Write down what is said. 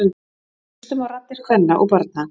Hlustum á raddir kvenna og barna